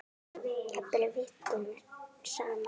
Jafnvel vikunum saman.